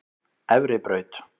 Efribraut